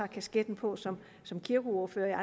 kasket på som kirkeordfører